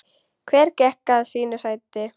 Hver gekk að sínu sæti.